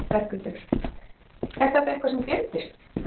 Berghildur: Er þetta eitthvað sem gleymdist?